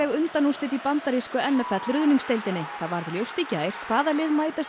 undanúrslit í bandarísku n f l það varð ljóst í gær hvaða lið mætast í